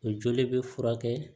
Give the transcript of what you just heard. O joli bɛ furakɛ